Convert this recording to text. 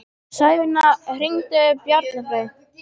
Sæfinna, hringdu í Bjarnfreð.